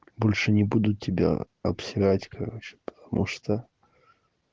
больше не буду тебя обсирать короче потому что